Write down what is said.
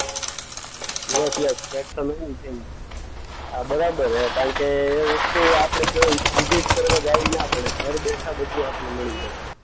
Yes yes. આ બરાબર છે કારણ કે એ વસ્તુ આપણે કેવી વિઝીટ કરવા જાવી ના પડે. ઘર બેઠા બધું આપણને મળી જાય.